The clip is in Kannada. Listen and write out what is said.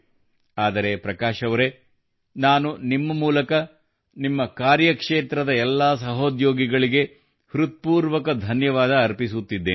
ಆದರೆ ಪ್ರಕಾಶ್ ಅವರೆ ನಾನು ನಿಮ್ಮ ಮೂಲಕ ನಿಮ್ಮ ಕಾರ್ಯಕ್ಷೇತ್ರದ ಎಲ್ಲಾ ಸಹೋದ್ಯೋಗಿಗಳಿಗೆ ಹೃತ್ಪೂರ್ವಕ ಧನ್ಯವಾದ ಅರ್ಪಿಸುತ್ತಿದ್ದೇನೆ